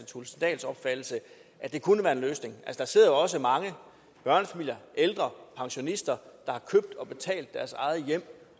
thulesen dahls opfattelse at det kunne være en løsning der sidder jo også mange børnefamilier ældre pensionister der har købt og betalt deres eget hjem